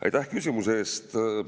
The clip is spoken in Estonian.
Aitäh küsimuse eest!